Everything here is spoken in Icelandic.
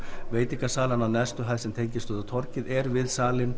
veitingasalan á neðstu hæð sem tengist við torgið er við salinn